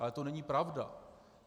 Ale to není pravda.